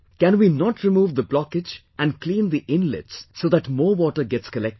Can we not remove the blockage and clean the inlets so that more water gets collected